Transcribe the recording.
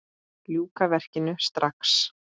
Ljúka verkinu strax!